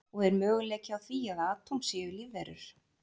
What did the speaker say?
Og er möguleiki á því að atóm séu lífverur?